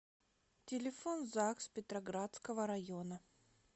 телефон загс петроградского района